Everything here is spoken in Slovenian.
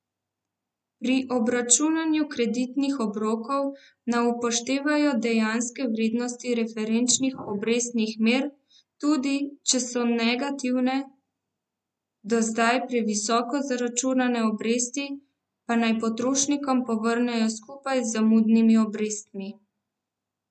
Pri obračunu kreditnih obrokov naj upoštevajo dejanske vrednosti referenčnih obrestnih mer, tudi če so negativne, do zdaj previsoko zaračunane obresti pa naj potrošnikom povrnejo skupaj z zamudnimi obrestmi.